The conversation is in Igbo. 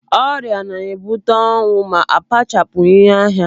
Ọrịa na-ebute ọnwụ ma akpachapụghị anya.